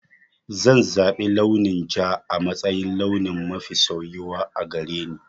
Zan zaɓi launin ja a matsayin launi mafi soyuwa a gare ni.